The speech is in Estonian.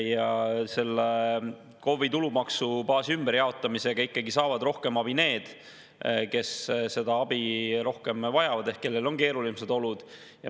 Ja selle KOV‑i tulumaksubaasi ümberjaotamisega ikkagi saavad rohkem abi need, kes seda abi rohkem vajavad, ehk need, kellel on keerulised olud.